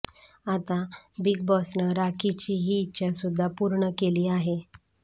आता बिग बॉसनं राखीची ही इच्छा सुद्धा पूर्ण केली आहे